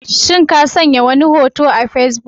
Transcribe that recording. Shin ka vanya wani hoto a Facebook?